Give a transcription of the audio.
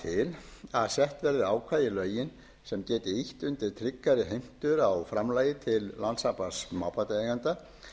til að sett verði ákvæði í lögin sem geti ýtt undir tryggari heimtur á framlagi til landssambands smábátaeigenda